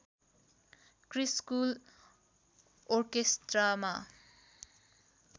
Chris school ओर्केस्ट्रामा